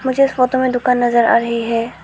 मुझे इस फोटो में दुकान नजर आ रही है।